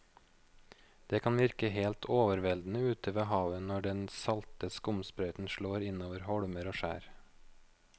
Det kan virke helt overveldende ute ved havet når den salte skumsprøyten slår innover holmer og skjær.